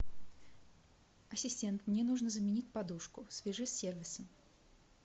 ассистент мне нужно заменить подушку свяжись с сервисом